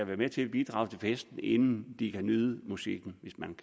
være med til at bidrage til festen inden de kan nyde musikken hvis man